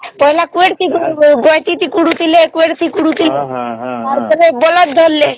ପହଲେ ଗୁଏଟ ରେ କୁଡୁଥିଲେ ବାଲଟି ରେ ଖଡୁଥିଲେ ଏବେ ବଳଦ ଧରିଲେ